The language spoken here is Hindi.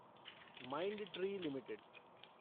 Mindtree limited